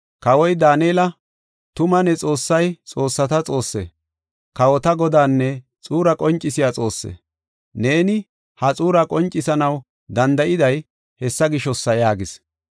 Kawoy Daanela, “Tuma ne Xoossay xoossata Xoosse, kawota Godanne xuura qoncisiya Xoosse. Neeni ha xuuraa qoncisanaw danda7iday hessa gishosa” yaagis.